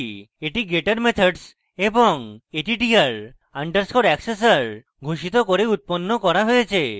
এই getter methods of attr _ accessor ঘোষিত করে উত্পন্ন করা হয়েছে